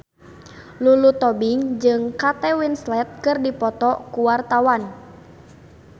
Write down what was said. Lulu Tobing jeung Kate Winslet keur dipoto ku wartawan